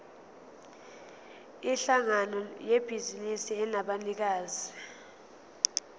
yinhlangano yebhizinisi enabanikazi